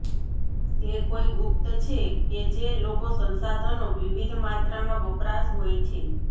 તે કોઈ ગુપ્ત છે કે જે લોકો સંસાધનો વિવિધ માત્રામાં વપરાશ હોય છે